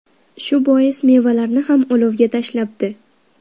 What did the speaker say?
Shu bois mevalarni ham olovga tashlabdi.